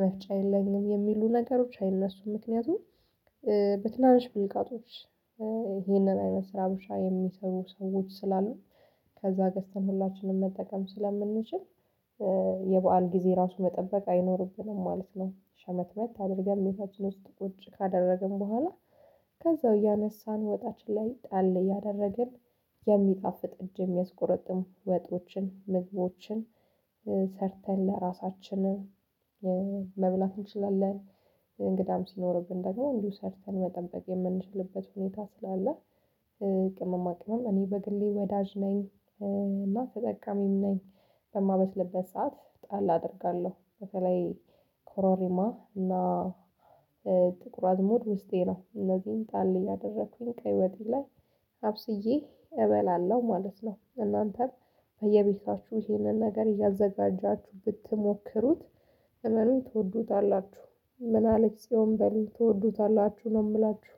መፍጫ የለኝም የሚሉ ነገሮች አይነሱም። ምክንያቱም በትናንሽ ብልቃጦች ይህንን አይነት ስራ ብሻ የሚሰሩ ሰዎች ስላሉ ከዛ ገዝተን ሁላችንም መጠቀም ስለምንችል። የበአል ጊዜ ራሱ መጠበቅ አይኖርብንም ማለት ነው። ሸመትመት አድርገን ቤታችን ውስጥ ቁጭ ካደረግን በኋላ። ከዛው እያነሳን ወጣችን ላይ ጣል ያደረግን። የሚጣፍጥ እጅ የሚያስቆረጥም ወጦችን ምግቦችን ሰርተን ለራሳችንም መብላት እንችላለን። እንግዳም ሲኖርብን ደግሞ እንዲሁ ሰርተን መጠበቅ የምንችልበት ሁኔታ ስላለ። ቅመማ ቅመም እኔ በግሌ ወዳጅ ነኝ። እና ተጠቃሚም ነኝ። በማበስልበት ሰዓት ጣል አደርጋለሁ በተለይ ኮሮሪማ እና ጥቁር አዝሙድ ውስጤ ነው እነዚህን ጣል እያደረኩኝ ቀይ ወጤ ላይ አብስዬ እበላለሁ ማለት ነው። እናንተም በየቤታችሁ ይህንን ነገር እያዘጋጃችሁ ብትሞክሩት እመኑኝ ትወዱታላችሁ። ምን አለች ጽዮን በሉኘ ትወዱታላችሁ ነው የምላችሁ።